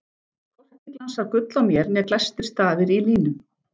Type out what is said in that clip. Hvorki glansar gull á mér né glæstir stafir í línum.